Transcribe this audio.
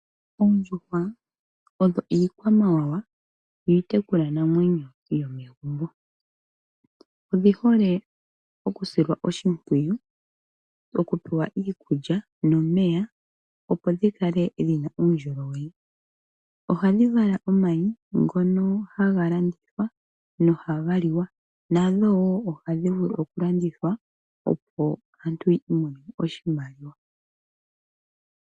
Oondjuhwa odho iikwamawawa iitekulwanamwenyo yo megumbo. Odhi hole okusilwa oshimpwiyu, okupewa iikulya nomeya opo dhi kale dhina uundjolowele. Ohadhi vala omayi ngono haga landithwa nohaga liwa. Nadho wo ohadhi vulu okulandithwa opo aantu ya imonene oshimaliwa.